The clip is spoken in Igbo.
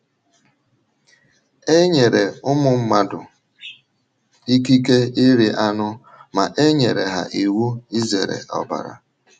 E nyere ụmụ mmadụ ikike iri anụ ma e nyere ha iwu izere ọbara.